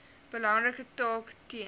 belangrike taak ten